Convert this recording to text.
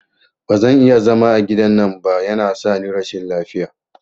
Bazan iya zama a gidan nan ba, yana sani rashin lafiya